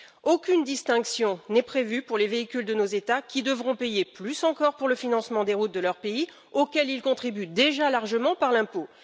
Aucune distinction n'est prévue pour les véhicules de nos États, qui devront payer plus encore pour le financement des routes de leur pays, auquel ils contribuent déjà largement par l'impôt.